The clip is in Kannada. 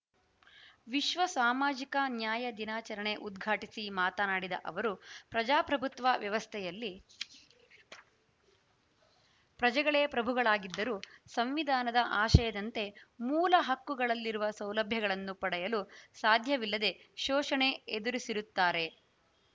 ವಿಶ್ವ ಸಾಮಾಜಿಕ ನ್ಯಾಯ ದಿನಾಚರಣೆ ಉದ್ಘಾಟಿಸಿ ಮಾತನಾಡಿದ ಅವರು ಪ್ರಜಾಪ್ರಭುತ್ವ ವ್ಯವಸ್ಥೆಯಲ್ಲಿ ಪ್ರಜೆಗಳೇ ಪ್ರಭುಗಳಾಗಿದ್ದರೂ ಸಂವಿಧಾನದ ಆಶಯದಂತೆ ಮೂಲ ಹಕ್ಕುಗಳಲ್ಲಿರುವ ಸೌಲಭ್ಯಗಳನ್ನು ಪಡೆಯಲು ಸಾಧ್ಯವಿಲ್ಲದೆ ಶೋಷಣೆ ಎದುರಿಸಿರುತ್ತಾರೆ